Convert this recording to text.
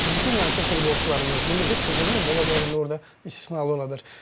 Heç bir düşünmürəm ki, futbolçularımız, milli, heç bir deməyim, ola bilər indi orda istisnalar ola bilər.